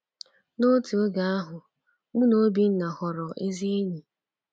N’otu oge ahụ, mụ na Obinna ghọrọ ezi enyi.